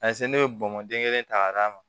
ne bɛ bɔnbɔnden kelen ta ka d'a ma